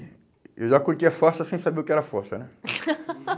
E eu já curtia fossa sem saber o que era fossa, né?